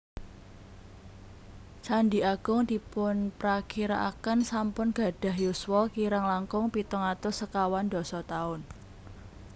Candhi Agung dipunprakirakaken sampun gadhah yuswa kirang langkung pitung atus sekawan dasa taun